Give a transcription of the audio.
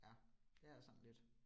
Ja, det er sådan lidt